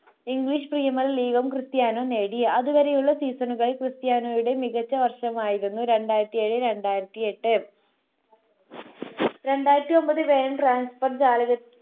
english premier league Cristiano നേടി അതുവരെയുള്ള season കൾ ക്രിസ്റ്റിയാനോയുടെ മികച്ച വർഷമായിരുന്നു രണ്ടായിരത്തി ഏറ്റെഴു രണ്ടായിരത്തി എട്ട് രണ്ടായിരത്തി ഒൻപത് വേഗം transfe ജാലകത്തിൽ